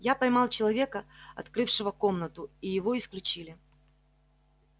я поймал человека открывшего комнату и его исключили